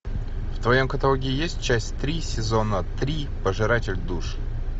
в твоем каталоге есть часть три сезона три пожиратель душ